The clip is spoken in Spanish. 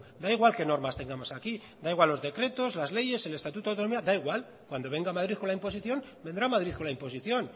da igual qué normas tengamos aquí da igual los decretos las leyes el estatuto de autonomía da igual cuando venga madrid con la imposición vendrá madrid con la imposición